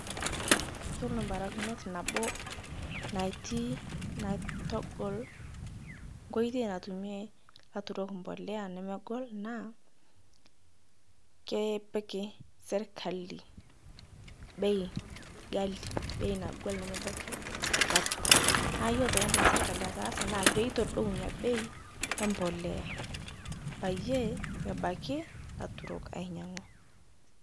Yuolo mbarakinoti nabo natii naitogol koitei natume laturok mbolea nemegol naa keepik serkali, bei ghali bei nagol nemebaki laturok. Naa yuolo ntoki naidim serkali ataasa naa peitodou nia bei embolea, payee, ebaki laturok ainyang'u.